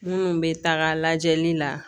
Minnu bɛ taga lajɛli la